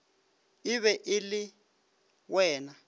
e be e le wena